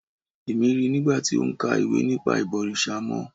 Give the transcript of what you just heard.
Èmi ríi nigba ti o ń ka ìwé nípa ìbọ̀rìṣà mọ́